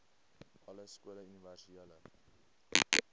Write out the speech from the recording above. alle skole universele